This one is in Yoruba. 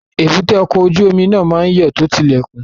Èbúté ọkọ̀ ojú omi náà yóò tó ti ilẹ̀kùn